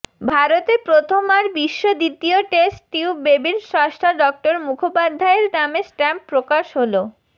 ভারতে প্রথম আর বিশ্ব দ্বিতীয় টেস্ট টিউব বেবির স্রষ্টা ডঃ মুখোপাধ্যায়ের নামে স্ট্যাম্প প্রকাশ হল